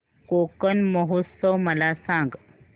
कोकण महोत्सव मला सांग